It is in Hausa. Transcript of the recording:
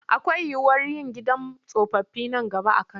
Akwai yiwuwar yin gidan tsofaffi nan gaba a Kano.